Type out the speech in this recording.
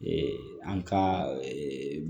an ka